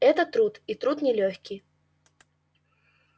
это труд и труд нелёгкий